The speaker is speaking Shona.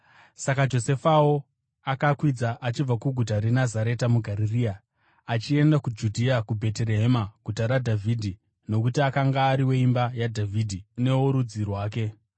Saka Josefawo akakwidza achibva kuguta reNazareta muGarirea achienda kuJudhea, kuBheterehema guta raDhavhidhi nokuti akanga ari weimba yaDhavhidhi neworudzi rwake.